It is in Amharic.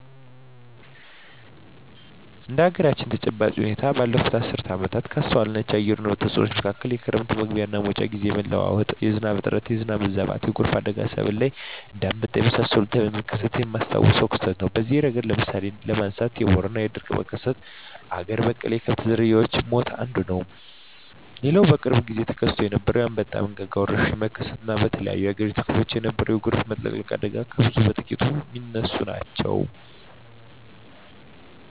እንደ አገራችን ተጨባጭ ሁኔታ ባለፋት አስርት ዓመታት ካስተዋልኳቸው የአየር ንብረት ተጽኖ መካከል የክረም መግቢያና መውጫ ግዜ የመለዋወጥ፣ የዝናብ እጥረት፣ የዝናብ መብዛት፣ የጎርፍ አደጋና በሰብል ላይ እንደ አንበጣ የመሳሰለ ተባይ መከሰት የማስታውሰው ክስተት ነው። በዚህ እረገድ እንደ ምሳሌ ለማንሳት የቦረና የድርቅ መከሰትና አገር በቀል የከብት ዝርያወች ሞት አንዱ ነው። ሌላው በቅርብ ግዜ ተከስቶ የነበረው የአንበጣ መንጋ ወረርሽኝ መከሰት እና በተለያዮ የአገሪቱ ክፍሎች የነበረው የጎርፍ መጥለቅለቅ አደጋ ከብዙ በጥቂቱ ሚነሱ ናቸው።